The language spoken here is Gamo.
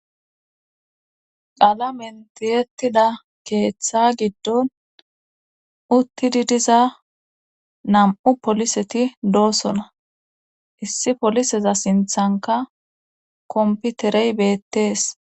Qala mentiyettida keeththa giddon uttidi diza nam'u poliseti doosona issi poliseza sinthanka komputerey beettees.